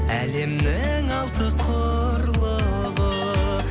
әлемнің алты құрлығы